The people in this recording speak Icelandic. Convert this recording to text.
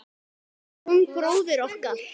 Jón bróðir okkar.